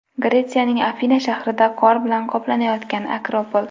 Gretsiyaning Afina shahrida qor bilan qoplanayotgan Akropol.